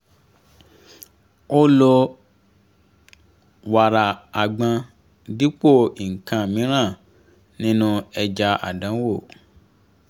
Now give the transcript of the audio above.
ó lo wàrà àgbọn dipo nkan mìíràn nínú ẹja àdánwò